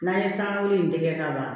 N'an ye san wolo in tɛgɛ ka ban